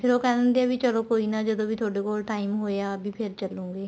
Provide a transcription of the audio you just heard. ਫ਼ਿਰ ਉਹ ਕਹਿ ਦਿੰਦੀ ਆ ਵੀ ਚਲੋਂ ਕੋਈ ਨਾ ਜਦੋਂ ਵੀ ਤੁਹਾਡੇ ਕੋਲ time ਹੋਇਆ ਵੀ ਫ਼ਿਰ ਚੱਲੂਗੇ